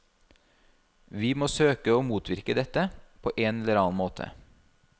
Vi må søke å motvirke dette, på en eller annen måte.